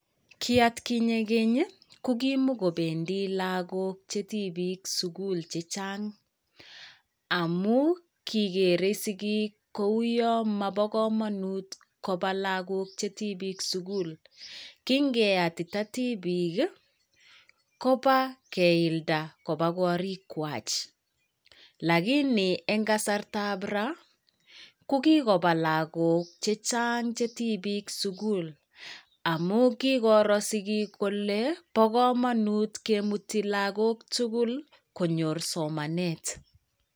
Ki atkinye keny, ko kimakobendi lagok che tibik sugul chechang. Amu kigeree sigik kou yon mopo komonut kobaa lagok che tibik sugul. Kingeyatita tibik, kopaa keilda kopa korikwak. Lakini eng' kasartab raa, ko kikopaa lagok chechang che tibik sugul amu kikoroo sigik kole bo komonut kemuti lagok tugul konyor somanet.